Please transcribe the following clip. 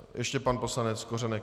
Ještě pan poslanec Kořenek.